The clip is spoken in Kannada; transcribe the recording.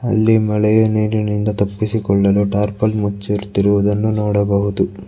ಅಲ್ಲಿ ಮಳೆಯ ನೀರಿನಿಂದ ತಪ್ಪಿಸಿಕೊಳ್ಳಲು ಟಾರ್ಪಲ್ ಮುಚ್ಚಿರ್ತಿರುದನ್ನ ನೋಡಬಹುದು.